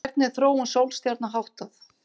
Hvernig er þróun sólstjarna háttað?